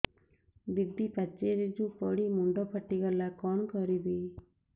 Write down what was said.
ଦିଦି ପାଚେରୀରୁ ପଡି ମୁଣ୍ଡ ଫାଟିଗଲା କଣ କରିବି